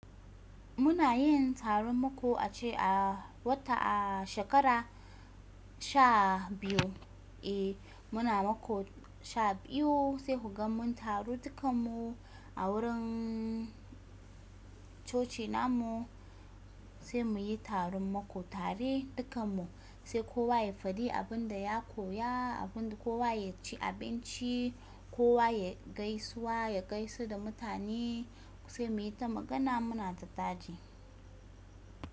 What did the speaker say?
Muna yin taron maƙo a ce a wata a shekara sha biyu. Eh muna maƙo sha biyu sai ku ga mun taru dukan mu a wurin coci namu sai mu yi taron mako tare dukan mu sai kowa ya faɗi abin da ya koya abin da kowa ya ci abinci kowa ya gaisuwa ya gaishe da mutane sai mu yi ta magana muna ta taɗi.